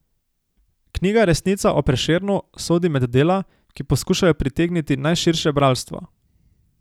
Knjiga Resnica o Prešernu sodi med dela, ki poskušajo pritegniti najširše bralstvo.